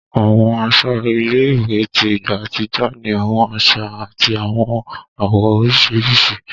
Àwọn aṣọ ilé-ìwé tí ìgbà àtijọ́ ni àwọn àṣà àti àwọn àwọ̀ oríṣiríṣi